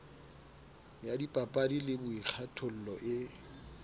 ya dipapadi le boikgathollo e